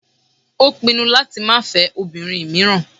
Ó pinu láti máa fẹ́ obìnrin míràn.